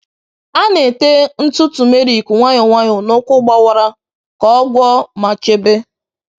A na-èté ntụ turmeric nwayọ nwayọ n’ụkwụ gbawara ka ọ gwọọ ma chebe.